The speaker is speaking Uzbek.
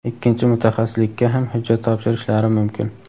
ikkinchi mutaxassislikka ham hujjat topshirishlari mumkin.